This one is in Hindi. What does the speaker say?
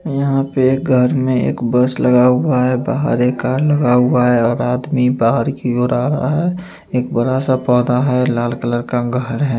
यहाँ पे एक गर में एक बस लगा हुआ है बाहर एक कार लगा हुआ है और आदमी बाहर की ओर आ रहा हैं एक बड़ा सा पौधा है लाल कलर का घर है।